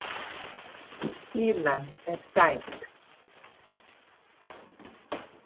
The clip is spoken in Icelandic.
Fýlan er stæk.